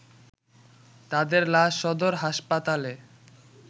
তাদের লাশ সদর হাসপাতালে